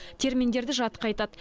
терминдерді жатқа айтады